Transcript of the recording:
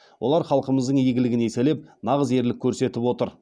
олар халқымыздың игілігін еселеп нағыз ерлік көрсетіп отыр